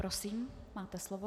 Prosím, máte slovo.